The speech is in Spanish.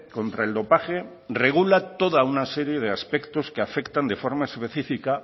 contra el dopaje regula toda una serie de aspectos que afectan de forma específica